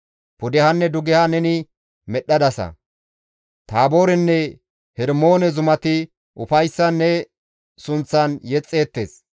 Pudehanne dugeha neni medhdhadasa; Taaboorenne Hermoone zumati ufayssan ne sunththan yexxeettes.